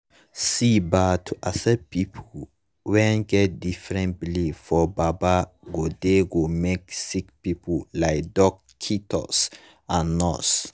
see bah to accept pple wen get different belief for baba godey go make sicki pple like dockitos and nurse